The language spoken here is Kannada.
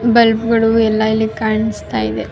ಬಲ್ಬ್ ಗಳು ಎಲ್ಲ ಇಲ್ಲಿ ಕಾಣಿಸ್ತಾ ಇದೆ.